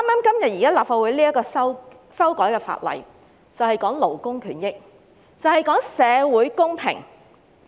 今天立法會討論的修例建議關乎勞工權益，亦關乎社會公平。